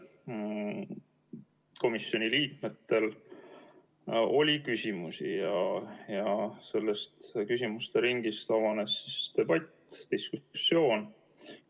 Komisjoni liikmetel oli küsimusi ja küsimusteringist avanes debatt, diskussioon.